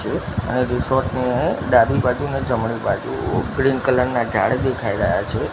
અને રેઝોર્ટ ની ડાબી બાજુ ને જમણી બાજુ ક્રીમ કલર ના જાળ દેખાય રહ્યા છે.